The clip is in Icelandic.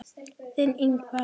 Þinn, Ingvar.